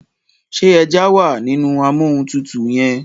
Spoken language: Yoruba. ṣe eja wá nínú Amóhuntutù yén?